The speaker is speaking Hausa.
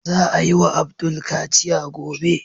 Za a yi wa Abdul kaciya gobe.